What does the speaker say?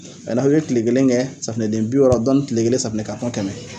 n'a' bɛ kile kelen kɛ safunɛden bi wɔɔrɔ dɔɔni kile kelen safunɛden kɛmɛ.